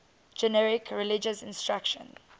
generic religious instruction